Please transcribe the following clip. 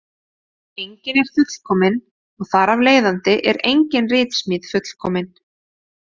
Enginn er fullkominn og þar af leiðandi er engin ritsmíð fullkomin.